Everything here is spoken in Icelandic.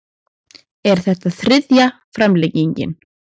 Er þetta þriðja framlengingin